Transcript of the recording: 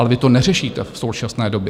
Ale vy to neřešíte v současné době.